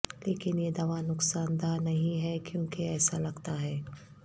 لیکن یہ دوا نقصان دہ نہیں ہے کیونکہ ایسا لگتا ہے